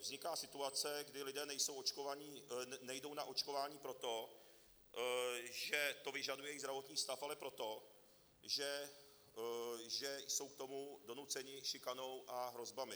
Vzniká situace, kdy lidé nejdou na očkování proto, že to vyžaduje jejich zdravotní stav, ale proto, že jsou k tomu donuceni šikanou a hrozbami.